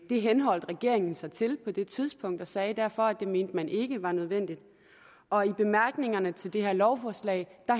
det henholdt regeringen sig til på det tidspunkt og man sagde derfor at det mente man ikke var nødvendigt og i bemærkningerne til det her lovforslag